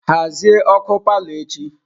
Hazie ọkụ palọ echi!